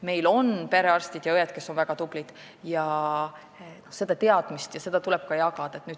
Meil on perearstid ja -õed, kes on väga tublid, ja seda teadmist tuleb ka jagada.